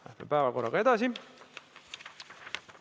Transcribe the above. Läheme päevakorraga edasi.